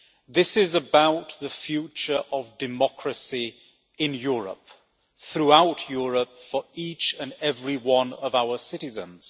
This is about the future of democracy in Europe, throughout Europe, for each and every one of our citizens.